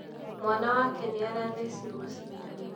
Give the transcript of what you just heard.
mwana wake nĩarathecirwo cidano